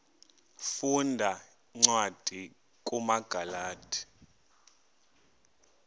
funda cwadi kumagalati